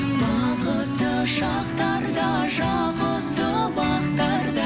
бақытты шақтарда жақұтты бақтарда